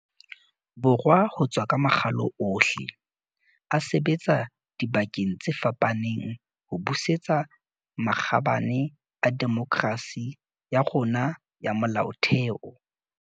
Borwa ho tswa ka makgalo ohle, a sebetsa dibakeng tse fapaneng ho busetsa makgabane a demokerasi ya rona ya molaotheo.